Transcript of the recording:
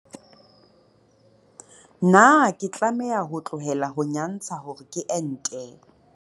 Potso, Na ke tlameha ho tlohela ho nyantsha hore ke ente?